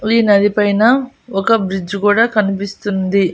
ఈ నది పైన ఒక బ్రిడ్జి కూడా కనిపిస్తుంది.